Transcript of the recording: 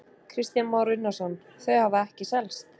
Kristján Már Unnarsson: Þau hafa ekki selst?